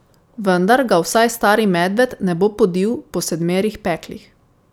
Vendar ga vsaj Stari medved ne bo podil po sedmerih peklih.